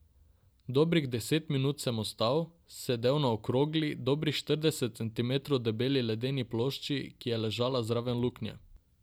Dobrih deset minut sem ostal, sedel na okrogli, dobrih štirideset centimetrov debeli ledeni plošči, ki je ležala zraven luknje.